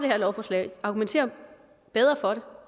her lovforslag argumentere bedre for